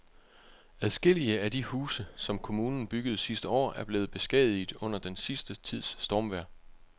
Adskillige af de huse, som kommunen byggede sidste år, er blevet beskadiget under den sidste tids stormvejr.